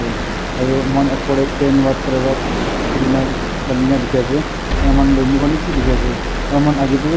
aru mohan opor tae tan white colour pra kurina bandina dikhiase aroena mohan bamboo khan bi bishi dikhiase aro mohan akaetae bi.